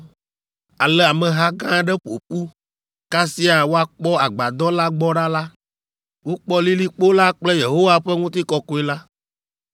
Ale ameha gã aɖe ƒo ƒu; kasia woakpɔ agbadɔ la gbɔ ɖa la, wokpɔ lilikpo la kple Yehowa ƒe ŋutikɔkɔe la.